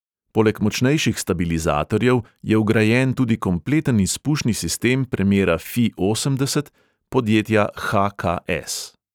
Poleg močnejših stabilizatorjev je vgrajen tudi kompleten izpušni sistem premera fi osemdeset podjetja ha|ka|es.